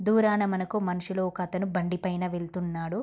దూరాన మనుసులు ఒకతను బండి పైన వెళ్తున్నాడు.